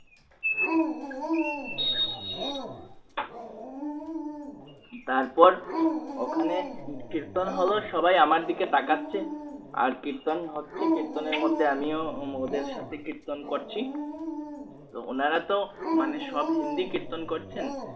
তারপর ওখানে কীর্তন হলো সবাই আমার দিকে তাকাচ্ছে আর কীর্তন হচ্ছে কীর্তনের মধ্যে আমি ও ওদের সাথে কীর্তন করছি তো উনারা তো মানে সব হিন্দি কীর্তন করছেন।